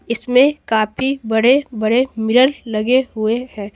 इसमें काफी बड़े बड़े मिरर लगे हुए हैं।